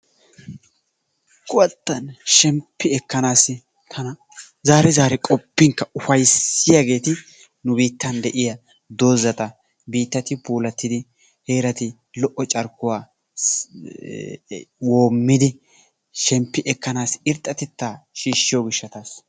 Kuwattan shemppi ekkanaassi tana zaari zari qoppinkka ufayissiyageeti nu biittan de'iya dozata biittati puulattidi heerata lo'o carkkuwa woommidi shemppi ekkanaassi irxxatettaa shiishshiyo gishshataassa.